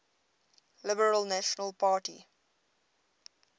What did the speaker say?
liberal national party